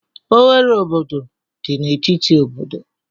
Oghere obodo dị n'etiti obodo